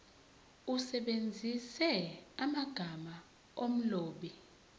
usebenzise amagama omlobi